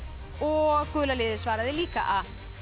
og gula liðið svaraði líka a